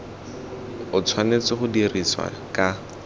o tshwanetse go dirisiwa ka